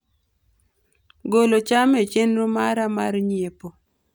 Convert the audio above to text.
golo cham e chenro mara mar nyiepo